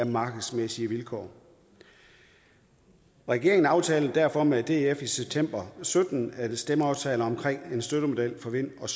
markedsmæssige vilkår regeringen aftalte derfor med df i september to og sytten en stemmeaftale om en støttemodel for vind og